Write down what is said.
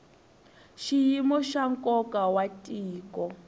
xiyimo xa nkoka wa tiko